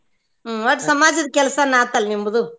ಹ್ಮ್ ಒಟ್ ಸಮಾಜದ್ ಕೆಲ್ಸಾನ ಆತ ಅಲ್ಲಿ ನಿಮ್ದು.